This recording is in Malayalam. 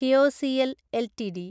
KIOCL LTD